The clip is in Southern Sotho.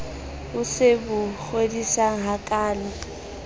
e se bo kgodisang hakaalo